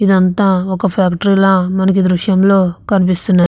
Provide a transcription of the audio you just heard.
ఇదంతా ఒక ఫ్యాక్టరీ మనకే దృశ్యం లో తెలుస్తుంది.